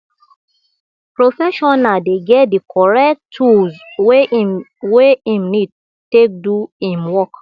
professional dey get di correct tools wey im wey im need take do im work